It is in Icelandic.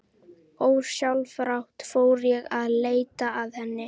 Ósjálfrátt fór ég að leita að henni.